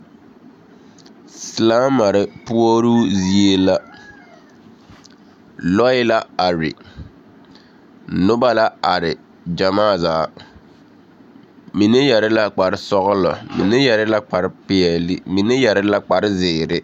Silaamare puoruu zie la. Lͻԑ la are, noba la are gyamaa zaa. Mine yԑre la kpare sͻgelͻ, mine yԑre la kpare peԑle, mine yԑre la zeere.